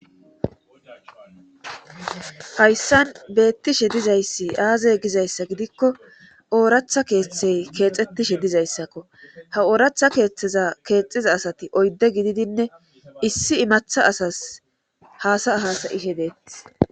hayssan beettishe dizayssi aazey gizayssa gidikko ooratha keeththey keexettishe dizayssakko ha ooratha keeththeza keexiza asati oydde gididinne issi imatha asas haasa ahasayishe deethi